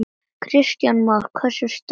Kristján Már: Hversu sterkt?